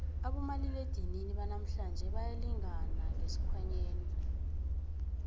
abomaliledinini banamhlanje bayalingana ngesikhwanyeni